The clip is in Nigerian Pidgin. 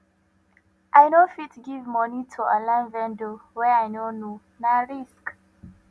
i no fit give moni to online vendor wey i no know na risk